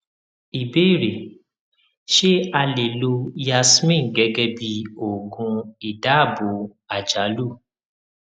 ìbéèrè ṣé a lè lo yasmin gẹgẹ bí oògùn ìdabò àjálù